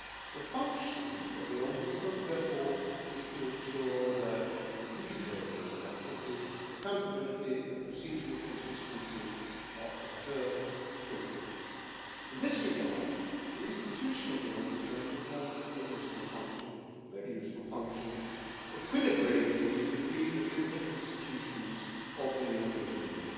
The function of the Ombudsman, therefore, is to ensure that, in these areas of activity, accountability and procedural consistency are observed fully. In this regard, the institution of the Ombudsman performs a very useful function equilibrating between the different institutions of the European Union.